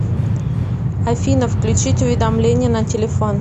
афина включить уведомления на телефон